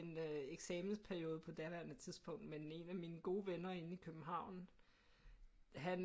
En øh eksamensperiode på daværende tidspunkt med den ene af mine gode venner inde i København han